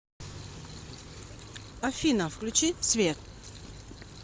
афина включи свеа